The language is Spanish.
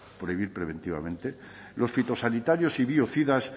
prohibir preventivamente los fitosanitarios y biocidas